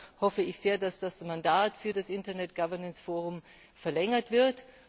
Deshalb hoffe ich sehr, dass das Mandat für das Internet Governance Forum verlängert wird.